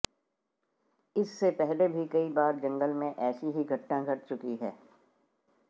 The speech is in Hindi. इससे पहले भी कई बार जंगल में ऐसी ही घटना घट चुकी है